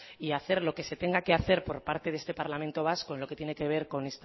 y hacer lo que se tenga que hacer por parte de este parlamento vasco en lo que tiene que ver